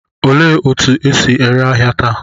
Olee otú e si ere ahịa taa?